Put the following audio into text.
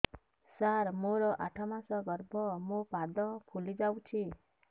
ସାର ମୋର ଆଠ ମାସ ଗର୍ଭ ମୋ ପାଦ ଫୁଲିଯାଉଛି